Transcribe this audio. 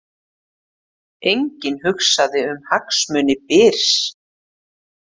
Enginn hugsaði um hagsmuni Byrs